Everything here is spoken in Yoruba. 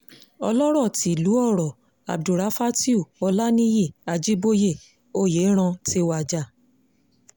ọlọ́rọ̀ tílu ọ̀rọ̀ abdulráfátìù olanìyí ajíboyé oyẹlran ti wájà